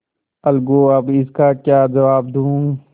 अलगूअब इसका क्या जवाब दूँ